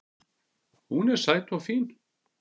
Hún er sæt og fín